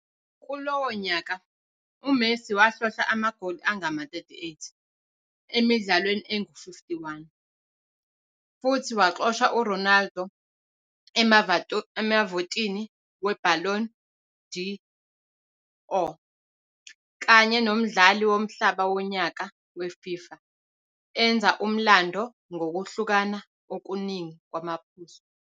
Kulowo nyaka, uMessi wahlohla amagoli angama-38 emidlalweni engu-51, futhi waxosha uRonaldo emavotini weBallon d'Or kanye nomdlali womhlaba wonyaka weFIFA, enza umlando ngokuhlukana okuningi kwamaphuzu.